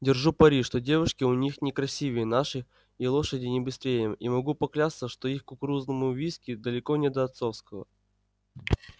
держу пари что девушки у них не красивее наших и лошади не быстрее и могу поклясться что их кукурузному виски далеко до отцовского